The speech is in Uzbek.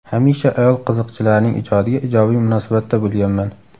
Hamisha ayol qiziqchilarning ijodiga ijobiy munosabatda bo‘lganman.